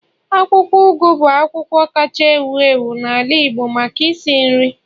akwukwo ugu bu akwukwo kacha ewu ewu n'ala Igbo maka isi nri